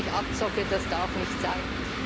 Das ist wirklich Abzocke, das darf nicht sein!